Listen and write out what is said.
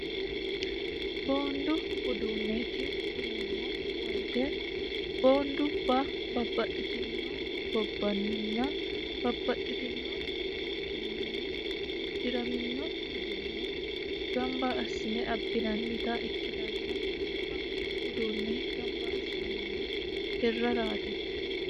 boondu uduunneeti yineemmo woyite boondubba babbaxxitino gobbanninna babbaxxitino kuchuminni uddi'raminno uduunne gamba assine abbinannita ikkitanna konne uduunne gamba assinannihu hirraraati